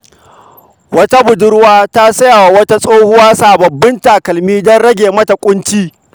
Wata budurwa ta saya wa wata tsohuwa sababbin takalma don rage mata ƙunci.